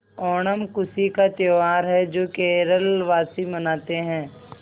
ओणम खुशी का त्यौहार है जो केरल वासी मनाते हैं